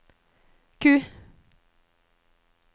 Q